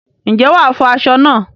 Ǹjẹ́ wàá fọ aṣọ náà?